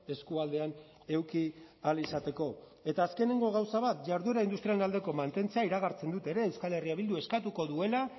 eskualdean eduki ahal izateko eta azkenengo gauza bat jarduera industrialaren aldeko mantentzea iragartzen dut ere euskal herria bilduk eskatuko duela